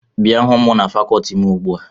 Bịa hụ m na fakọọti m ugbu a!